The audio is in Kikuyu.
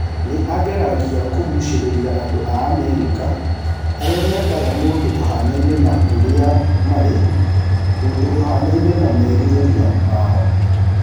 Nĩ aageragia kũgucĩrĩria andũ a Amerika arĩa mendaga mũndũ ũhaanaine na ũrĩa marĩ, mũndũ ũhaanaine na merirĩria mao.